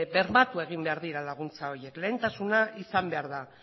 bermatu egin behar dira laguntza horiek lehentasuna izan behar da